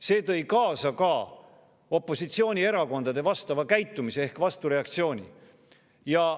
See tõi kaasa ka opositsioonierakondade vastava käitumise ehk vastureaktsiooni.